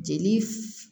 Jeli